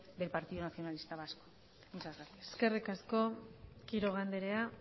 del partido nacionalista vasco muchas gracias eskerrik asko quiroga andrea